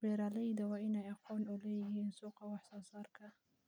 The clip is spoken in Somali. Beeralayda waa in ay aqoon u leeyihiin suuqa wax soo saarka.